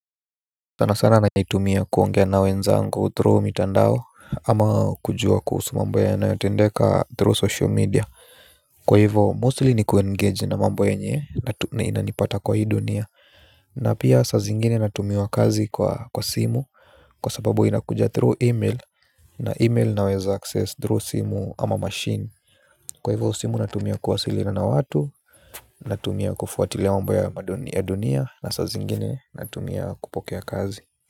Sana sana naitumia kuongea na wenzangu through mitandao ama kujua kuhusu mambo yanayotendeka through social media kwa hivyo mostly ni kuengage na mambo yenye inanipata kwa hii dunia na pia saa zingine natumiwa kazi kwa kwa simu kwa sababu inakuja through email na email naweza access through simu ama machine kwa hivyo simu natumia kuwasiliana na watu natumia kufuatilia mambo ya ya dunia na saa zingine natumia kupokea kazi.